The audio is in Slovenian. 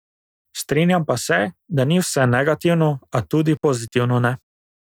Strinjam pa se, da ni vse negativno, a tudi pozitivno ne.